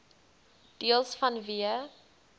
deels vanweë